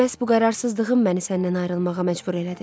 Məhz bu qərarsızlığım məni səndən ayrılmağa məcbur elədi.